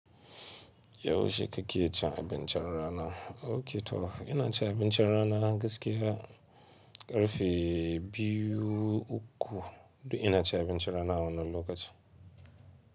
Yaushe kake cin abincin rana? Ok to ina cin abincin rana gaskiya ƙarfe biyu uku, duk ina cin abincin rana wannan lokacin.